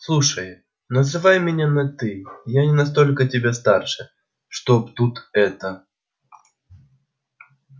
слушай называй меня на ты я не настолько тебя старше чтоб тут это